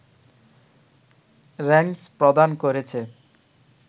র‌্যাংস প্রদান করেছে